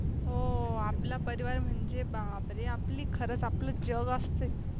हो आपला परिवार म्हणजे बापरे! आपली खरंच आपले जग असते.